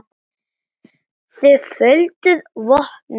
Þið földuð vopnin.